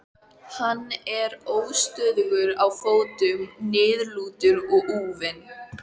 Hann er óstöðugur á fótum, niðurlútur og úfinn.